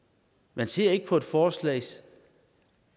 man ser ikke på et forslag